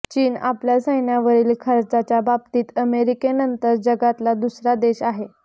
चीन आपल्या सैन्यावरील खर्चाच्या बाबतीत अमेरिकेनंतर जगातला दुसरा देश आहे